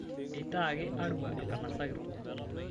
Eitaaki Arua enkanasa kitok